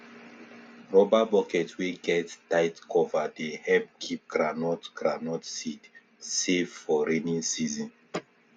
rubber bucket wey get tight cover dey help keep groundnut groundnut seed safe for rainy season